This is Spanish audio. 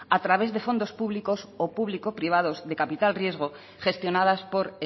a través de fondos públicos o publico privados de capital riesgo gestionadas por